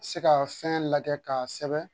Se ka fɛn lajɛ k'a sɛbɛn